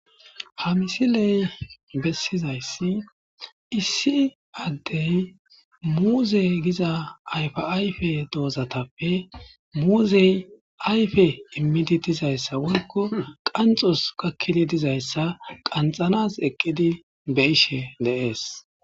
ha misiley bessizayssi issi addey muuze giza ayfaayfe doozatappe muuzey ayfe immidi dizayssa wolko qanxos kakkidi dizayssa qanxanas eqqidi be ishe de'es.